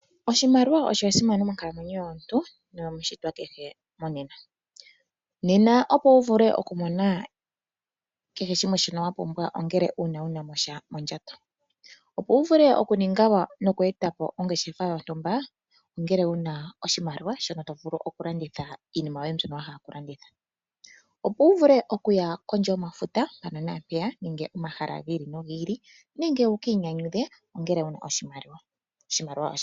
Oshimaliwa osha simana monkalamwenyo yomuntu noyo mu shitwa kehe monena. Nena opo wu vule okumona kehe shimwe shi wa pumbwa ongele uuna wuna mo oshali mondjato. Opo wu vule okuninga nokweeta po ongeshefa yontumba ongele wuna mo sha oshimaliwa shono to vulu oku landitha iinima yoye mbyono wahala okulanditha. Opo wu vule okuya kondje yomafuta mpano naampeya nenge momahala gi ili nogi ili nenge wu kiinyanyudhe ongele wuna oshimaliwa. Oshimaliwa osha simana.